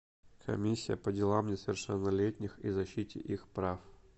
комиссия по делам несовершеннолетних и защите их прав